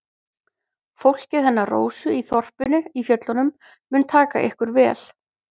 Fólkið hennar Rósu í þorpinu í fjöllunum mun taka ykkur vel.